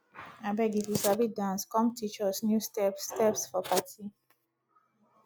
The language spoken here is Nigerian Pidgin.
abeg if you sabi dance come teach us new steps steps for party